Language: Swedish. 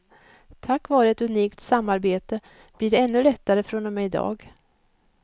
Tack vare ett unikt samarbete blir det ännu lättare från och med i dag.